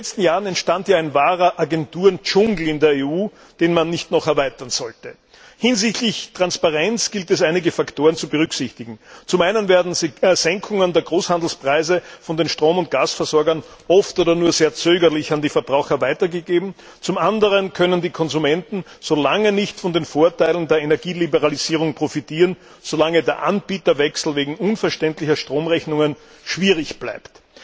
In den letzten Jahren entstand in der EU ein wahrer Agenturendschungel, den man nicht noch erweitern sollte. Hinsichtlich Transparenz gilt es, einige Faktoren zu berücksichtigen Zum einen werden Senkungen der Großhandelspreise von den Strom und Gasversorgern oft nicht oder nur sehr zögerlich an die Verbraucher weitergegeben. Zum anderen können die Konsumenten so lange nicht von den Vorteilen der Energieliberalisierung profitieren, so lange der Anbieterwechsel wegen unverständlicher Stromrechnungen schwierig bleibt.